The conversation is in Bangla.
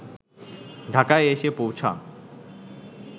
ঢাকায় এসে পৌঁছান